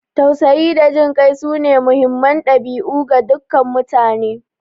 Tausayi da jin kai sune muhimman dabi'u ga dukkan mutane.